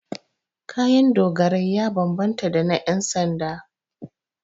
Kayan dogarai ya bambanta da na 'yansanda.